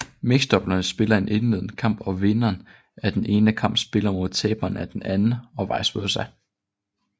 Mixdoublerne spiller en indledende kamp og vinderen af den ene kamp spiller mod taberen af den anden og vice versa